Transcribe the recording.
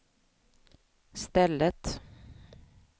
stället